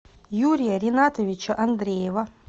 юрия ринатовича андреева